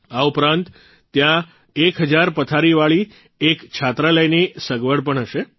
આ ઉપરાંત ત્યાં એક હજાર પથારીવાળી એક છાત્રાલયની સગવડ પણ હશે